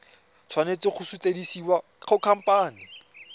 tshwanela go sutisediwa go khamphane